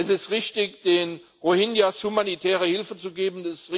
Es ist richtig, den Rohingya humanitäre Hilfe zu geben.